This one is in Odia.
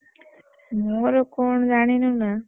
ମୋର କଣ ଜାଣିନୁ ନା।